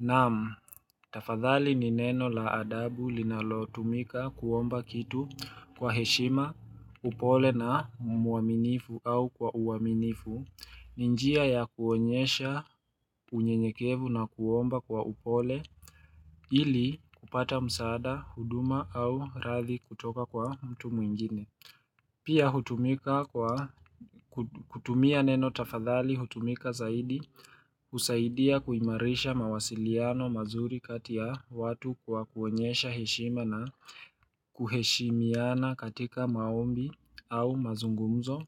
Naam, tafadhali ni neno la adabu linalo tumika kuomba kitu kwa heshima upole na mwaminifu au kwa uaminifu, ni njia ya kuonyesha unyenyekevu na kuomba kwa upole ili kupata msaada, huduma au rathi kutoka kwa mtu mwingine. Pia hutumika kwa kutumia neno tafadhali hutumika zaidi kusaidia kuimarisha mawasiliano mazuri kati ya watu kwa kuonyesha heshima na kuheshimiana katika maombi au mazungumzo.